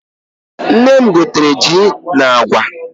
Nne m gotere ji na agwa.